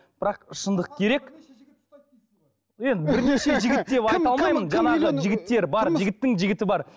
бірақ шындық керек енді бірнеше жігіт деп айта алмаймын жаңағы жігіттер бар жігіттің жігіті бар